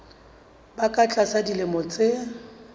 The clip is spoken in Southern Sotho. ba ka tlasa dilemo tse